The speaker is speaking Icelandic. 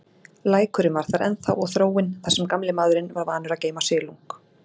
Lækurinn var þar ennþá og þróin, þar sem gamli maðurinn var vanur að geyma silung.